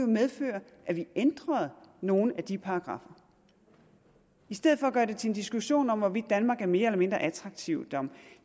medføre at vi ændrede nogle af de paragraffer og i stedet for at gøre det til en diskussion om hvorvidt danmark er mere eller mindre attraktivt om